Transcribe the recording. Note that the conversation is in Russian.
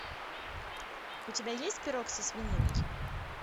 у тебя есть пирог со свининой